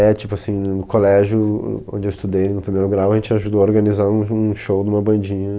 É, tipo assim, no colégio onde eu estudei no primeiro grau, a gente ajudou a organizar um um show de uma bandinha.